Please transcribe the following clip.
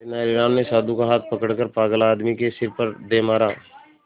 तेनालीराम ने साधु का हाथ पकड़कर पागल आदमी के सिर पर दे मारा